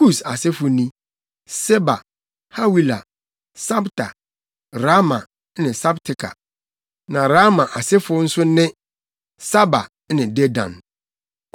Kus + 10.7 Kus aman ahorow ason no nyinaa wɔ Arabia. asefo ni: Seba, Hawila, Sabta, Raama ne Sabteka. Na Raama asefo nso ne: Saba ne Dedan.